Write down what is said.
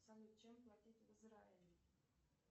салют чем платить в израиле